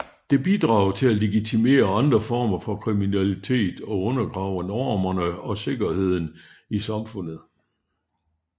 Det bidrager til at legitimere andre former for kriminalitet og undergraver normerne og sikkerheden i samfundet